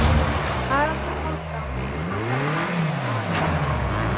Haraldur Hálfdán færði sig ljúfmannlega.